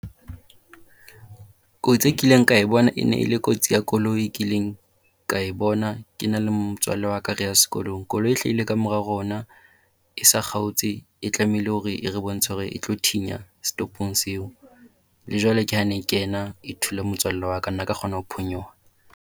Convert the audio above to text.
Kotsi e kileng ka e bona e ne le kotsi ya koloi kileng ka e bona ke na le motswalle wa ka reya sekolong. koloi e hlahile kamora rona e sa kgaotse e tlamehile hore e re bontsha hore e tlo thinya setopong seo. Le jwale ke ha e ne kena e thula motswalle wa ka nna ka kgona ho phonyoha.